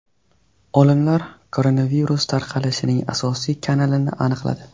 Olimlar koronavirus tarqalishining asosiy kanalini aniqladi.